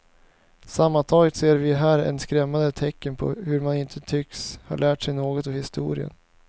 Sammantaget ser vi här ett skrämmande tecken på hur man inte tycks ha lärt sig något av historien.